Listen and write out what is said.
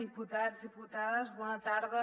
diputats diputades bona tarda